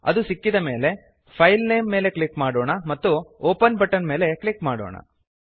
ಅದು ಸಿಕ್ಕಿದ ಮೇಲೆ ಫೈಲ್ನೇಮ್ ಮೇಲೆ ಕ್ಲಿಕ್ ಮಾಡೋಣ ಮತ್ತು ಒಪೆನ್ ಬಟನ್ ಮೇಲೆ ಕ್ಲಿಕ್ ಮಾಡೋಣ